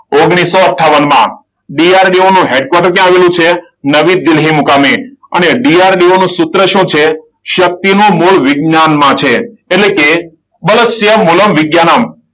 ઓગણીસો અઠ્ઠાવન. DRDO નું હેડ કોટર ક્યાં આવેલું છે? નવી દિલ્હી મુકામે. અને DRDO નું સૂત્ર શું છે? શક્તિ નું મૂળ વિજ્ઞાનમાં છે. એટલે કે